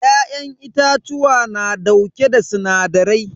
Ya'yan itatuwa na dauke da sinadarai.